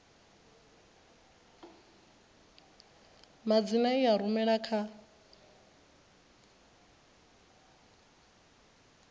madzina i a rumela kha